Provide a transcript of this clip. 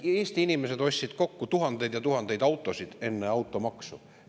Eesti inimesed ostsid kokku tuhandeid ja tuhandeid autosid enne automaksu.